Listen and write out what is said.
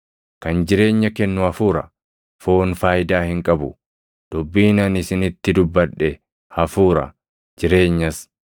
Kan jireenya kennu Hafuura; foon faayidaa hin qabu. Dubbiin ani isinitti dubbadhe Hafuura; jireenyas.